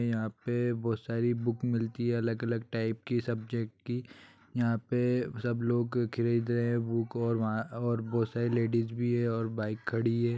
यहाँ पे बोहत सारी बुक मिलती है अलग-अलग टाइप की सब्जेक्ट की | यहाँ पे सब लोग खरीद रहे है बुक और बा अ-बोहत सारी लेडीज भी है और बाइक खड़ी है।